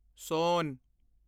ਸੋਨ